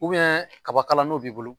kaba kala n'o b'i bolo